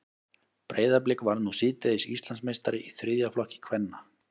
Breiðablik varð nú síðdegis Íslandsmeistari í þriðja flokki kvenna.